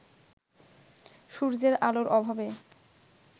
সূর্যের আলোর অভাবে